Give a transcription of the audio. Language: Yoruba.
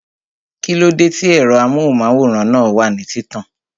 Kíló dé tí ẹ̀rọ amóhùnmáwòrán náà wà ní títàn?